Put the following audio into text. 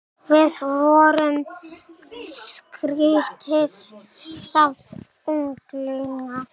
Við vorum skrýtið safn unglinga.